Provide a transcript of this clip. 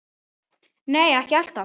Nei, ekki alltaf.